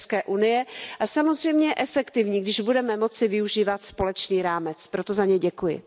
i EU, a samozřejmě efektivní, když budeme moci využívat společný rámec, proto za něj děkuji.